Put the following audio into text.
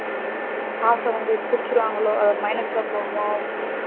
காச வந்து பிடிச்சிருவான்களோ minus போகுமா